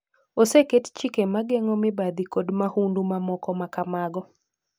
Oseket chike ma geng'o mibadhi kod mahundu mamoko ma kamago.